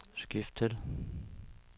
skift til